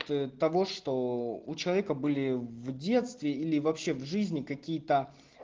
того что у человека были в детстве или вообще в жизни какие-то